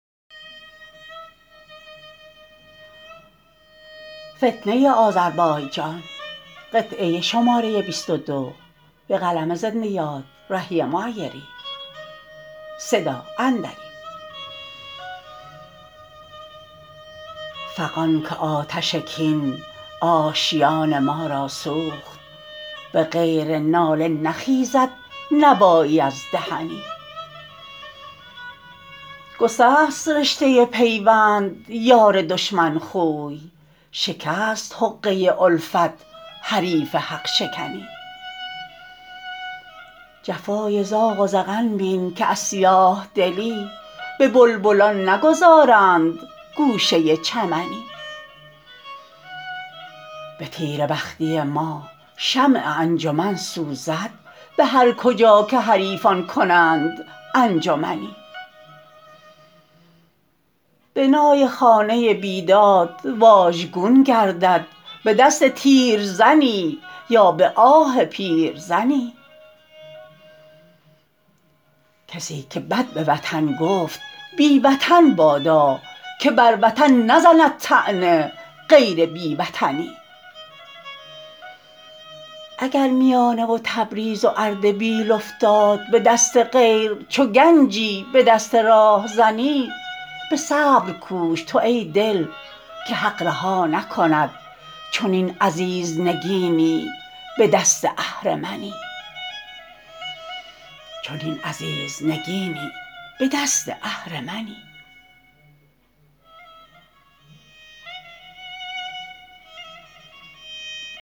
فغان که آتش کین آشیان ما را سوخت به غیر ناله نخیزد نوایی از دهنی گسست رشته پیوند یار دشمن خوی شکست حقه الفت حریف حق شکنی جفای زاغ و زغن بین که از سیاه دلی به بلبلان نگذارند گوشه چمنی به تیره بختی ما شمع انجمن سوزد به هرکجا که حریفان کنند انجمنی بنای خانه بیداد واژگون گردد به دست تیرزنی یا به آه پیرزنی کسی که بد به وطن گفت بی وطن بادا که بر وطن نزند طعنه غیر بی وطنی اگر میانه و تبریز و اردبیل افتاد به دست غیر چو گنجی به دست راهزنی به صبر کوش تو ای دل که حق رها نکند چنین عزیز نگینی به دست اهرمنی